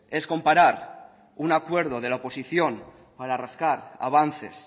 es comparar un acuerdo de la oposición para rascar avances